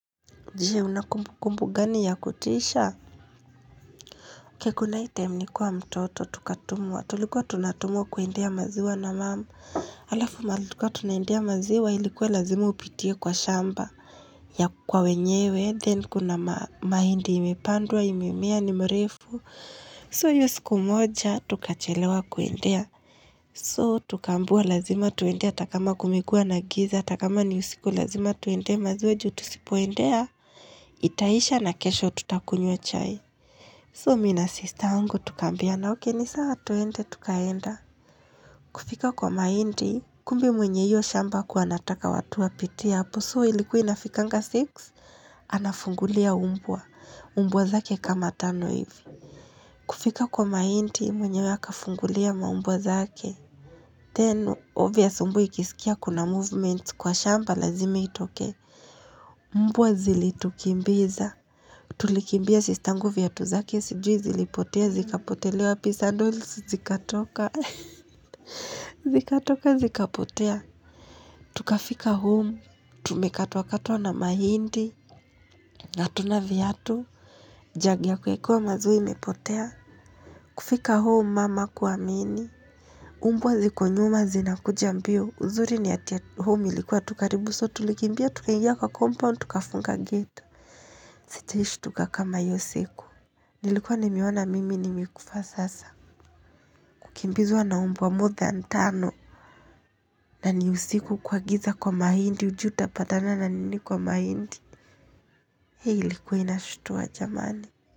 Je, unakumbu kumbu gani ya kutisha? Kekula item ni kuwa mtoto tukatumwa. Tulikuwa tunatumwa kuendea maziwa na mam. Alafu mahali tulikuwa tunaendea maziwa ilikuwa lazima upitie kwa shamba. Ya kwa wenyewe, then kuna mahindi imepandua, imemea, nimrefu. So hiyo siku mocha, tukachelewa kuendea. So tukambua lazima tuende ata kama kumekua na giza, ata kama ni usiku lazima tuende maziwa juu tusipoendea. Itaisha na kesho tutakunywa chai So mi na sista angu tukaambiana ok ni sawa tuende tukaenda kufika kwa mahindi kumbe mwenye hiyo shamba hakuwa anataka watu wapitie hapo so ilikuwa inafikanga six anafungulia umbwa. Umbwa zake kama tano hivi kufika kwa mahindi mwenywe akafungulia maumbwa zake Then obvious umbw ikisikia kuna movement kwa shamba lazimi itoke Mbwa zilitukimbiza. Tulikimbia sistangu viatu zake sijui zilipotea, zikapotelea wapi sandols zikatoka, zikatoka zikapotea. Tukafika home, tumekatwa katwa na mahindi, na hatuna viatu, jagi ya kuekewa maziwa imepotea, kufika home mum hakuamini. Umbwa ziko nyuma zinakuja mbio, uzuri ni ati home ilikua tu karibu so, tulikimbia, tukaingia kwa compound, tukafunga gate. Sijaishtuka kama iyo siku. Nilikuwa nimeona mimi nimekufa sasa Kukimbizwa na umbwa more than tano na ni usiku kwa giza kwa mahindi hujui utapatana na nini kwa mahindi Hii ilikuwa inashutua jamani.